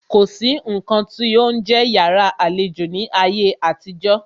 Kò sí nǹkan tí ó ń jẹ́ yàrá àlejò ní ayé àtijó.